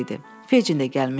Fecin də gəlmişdi.